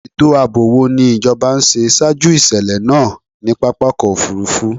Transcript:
Ètò ààbò wo ni ìjọba ń ṣe ṣaájú ìṣèlẹ̀ náà ní pápákọ̀-òfurufú?